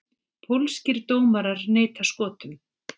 Pólskir dómarar neita Skotum